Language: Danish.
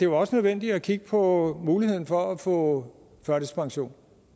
var nødvendigt at kigge på muligheden for at få førtidspension og